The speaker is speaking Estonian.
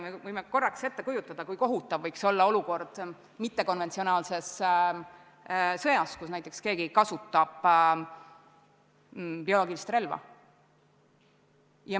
Me võime ette kujutada, kui kohutav võiks olla olukord mittekonventsionaalses sõjas, kus keegi kasutab bioloogilist relva.